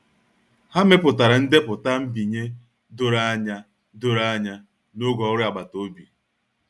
Ha mepụtara ndepụta nbinye doro anya doro anya n'oge ọrụ agbata obi.